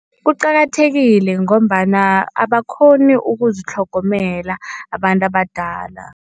Kuqakathekile ngombana abakghoni ukuzitlhogomela abantu abadala.